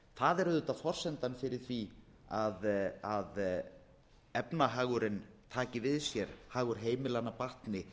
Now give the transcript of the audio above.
það er auðvitað forsendan fyrir því að efnahagur taki við sér hagur heimilanna batni